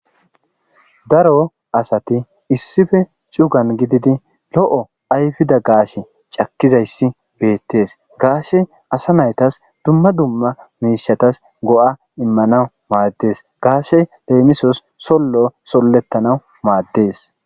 Daro asati issife cugan gididi lo'o ayfida gaashe cakkizayssi beettees gaashe asa naytas dumma dumma miishatas go'a immanau maaddes gaashe leemisos sollo sollettana maaddees.